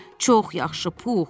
Çox yaxşı, Pux.